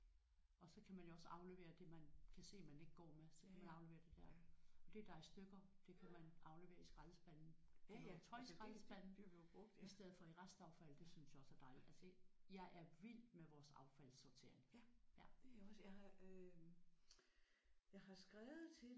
Og så kan man jo også aflevere det man kan se man ikke går med så kan man aflevere det der. Og det der er i stykker det kan man aflevere i skraldespanden. Det er jo tøjskraldespanden i stedet for restaffald. Det synes jeg også er dejligt at se. Jeg er vild med vores affaldssortering